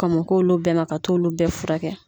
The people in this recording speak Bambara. Kɔn mo k'olu bɛɛ ma ka t'olu bɛɛ fura kɛ.